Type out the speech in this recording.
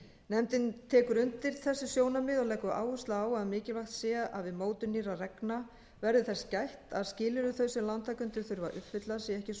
nefndin tekur undir þessi sjónarmið og leggur áherslu á að mikilvægt sé að við mótun nýrra reglna verði þess gætt að skilyrði þau sem lántakendur þurfi að uppfylla